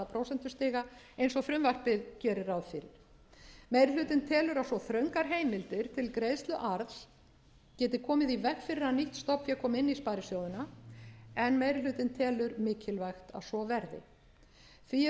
prósentustiga eins og frumvarpið gerir ráð fyrir meiri hlutinn telur að svo þröngar heimildir til greiðslu arðs geti komið í veg fyrir að nýtt stofnfé komi inn í sparisjóðina en meiri hlutinn telur mikilvægt að svo verði því